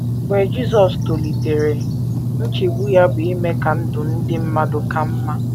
Mgbe Jisọs tolitere, nchegbu ya bụ ime ka ndụ ndị mmadụ ka mma.